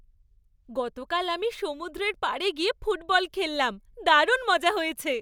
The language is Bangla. গতকাল আমি সমুদ্রের পাড়ে গিয়ে ফুটবল খেললাম। দারুণ মজা হয়েছে।